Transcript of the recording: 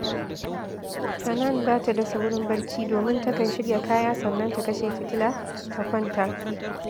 Hanan ba ta da saurin barci, domin takan shirya kaya sannan ta kashe fitila, ta kwanta